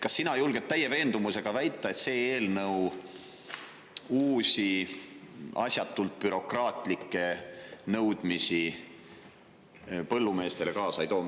Kas sina julged täie veendumusega väita, et see eelnõu uusi asjatult bürokraatlikke nõudmisi põllumeestele kaasa ei too?